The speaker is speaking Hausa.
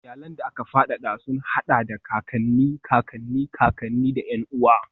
Iyalan da aka fadada sun haɗa da kakanni, kakanni, kakanni, da ƴan uwa.